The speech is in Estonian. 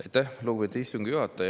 Aitäh, lugupeetud istungi juhataja!